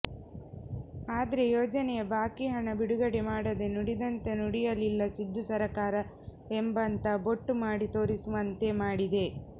ಆದ್ರೇ ಯೋಜನೆಯ ಬಾಕಿ ಹಣ ಬಿಡುಗಡೆ ಮಾಡದೇ ನುಡಿದಂತೆ ನಡೆಯಲಿಲ್ಲ ಸಿದ್ದು ಸರ್ಕಾರ ಎಂಬತ್ತ ಬೊಟ್ಟು ಮಾಡಿ ತೋರಿಸುವಂತೆ ಮಾಡಿದೆ